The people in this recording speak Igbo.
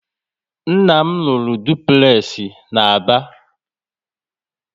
Nna m rụrụ dupulexi na Aba